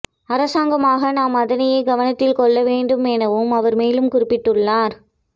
அரசாங்கமாக நாம் அதனையே கவனத்தில் கொள்ள வேண்டும் எனவும் அவர் மேலும் குறிபிட்டுள்ளார்